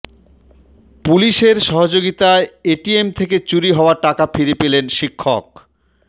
পুলিশের সহযোগিতায় এটিএম থেকে চুরি হওয়া টাকা ফিরে পেলেন শিক্ষক